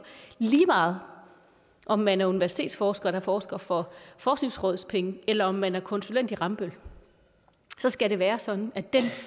lige meget om man er universitetsforsker der forsker for forskningsrådspenge eller om man er konsulent i rambøll skal det være sådan at den